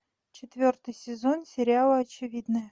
четвертый сезон сериала очевидное